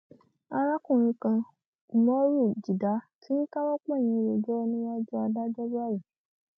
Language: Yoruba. arákùnrin kan umoru jidah ti ń káwọ pọnyìn rojọ níwájú adájọ báyìí